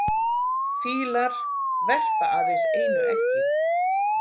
Fýlar verpa aðeins einu eggi.